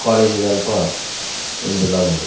College ದಲ್ಪ ಉಂದುಲ ಉಂಡು.